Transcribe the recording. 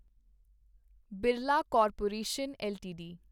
Birla corporation LTD